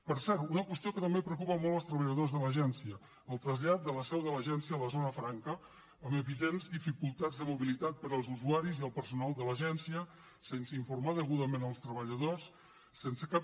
per cert una qüestió que també preocupa molt els treballadors de l’agència el trasllat de la seu de l’agència a la zona franca amb evidents dificultats de mobilitat per als usuaris i el personal de l’agència sense informar ne degudament els treballadors sense cap